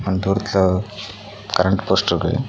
அங்க தூரத்துல கரண்ட் போஸ்ட்ருக்கு .